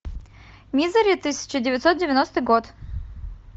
мизери тысяча девятьсот девяностый год